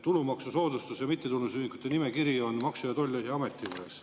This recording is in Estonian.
Tulumaksusoodustusega mittetulundusühingute nimekiri on Maksu- ja Tolliameti käes.